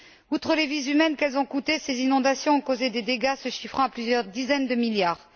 Outre les vies humaines qu'elles ont coûtées, ces inondations ont causé des dégâts se chiffrant à plusieurs dizaines de milliards.